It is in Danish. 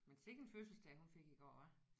Men sikke en fødselsdag hun fik i går hva